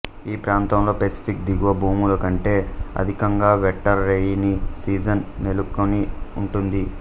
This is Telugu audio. ఈప్రాంతంలో పసిఫిక్ దిగువ భూములకంటే అధికంగా వెట్టర్ రెయినీ సీజన్ నెలకొని ఉంటుంది